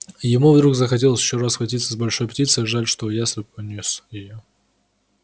ему вдруг захотелось ещё раз схватиться с большой птицей жаль что ястреб унёс её